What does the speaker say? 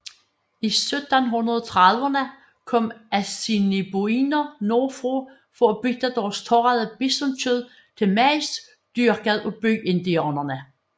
I 1730erne kom assiniboiner nordfra for at bytte deres tørrede bisonkød til majs dyrket af byindianerne